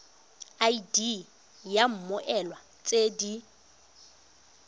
id ya mmoelwa tse di